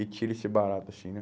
E tira esse barato assim, né?